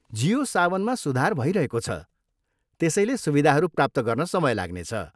जियो सावनमा सुधार भइरहेको छ, त्यसैले सुविधाहरू प्राप्त गर्न समय लाग्नेछ।